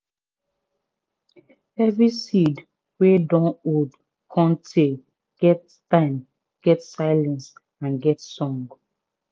every seed wey dun old cun tay get time get silence and get song.